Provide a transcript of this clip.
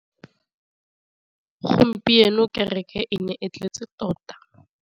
Gompieno kêrêkê e ne e tletse tota.